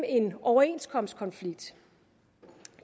en overenskomstkonflikt